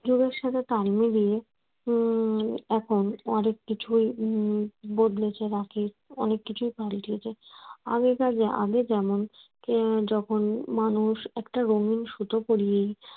যুগের সাথে তাল মিলিয়ে উম এখন অনেক কিছুই উম বদলেছে রাখির অনেক কিছুই পাল্টেছে আগেকার আগে যখন মানুষ একটা পড়িয়েই